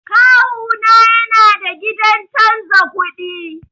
Kawuna yana da gidan canza kuɗi.